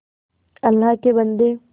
अल्लाह के बन्दे